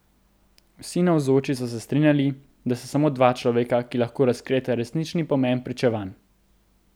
Vsi navzoči so se strinjali, da sta samo dva človeka, ki lahko razkrijeta resnični pomen Pričevanj.